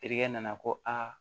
Terikɛ nana ko a